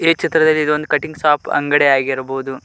ಈ ಚಿತ್ರದಲ್ಲಿ ಇದೊಂದು ಕಟಿಂಗ್ ಶಾಪ್ ಅಂಗಡಿ ಆಗಿರಬೊದು.